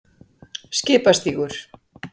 Skipastígur